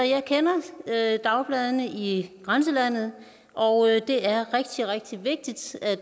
jeg kender dagbladene i grænselandet og det er rigtig rigtig vigtigt at